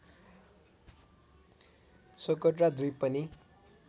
Socotra द्वीप पनि